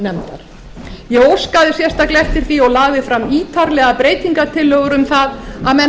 iðnaðarnefndar ég óskaði sérstaklega eftir því og lagði fram ítarlegar breytingartillögur um það að menn